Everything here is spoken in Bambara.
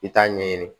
I t'a ɲɛɲini